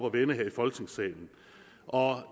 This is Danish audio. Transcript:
at vende her i folketingssalen og